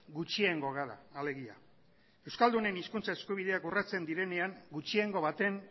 gutxiengo gara alegia euskaldunen hizkuntza eskubideak urratzen direnean gutxiengo baten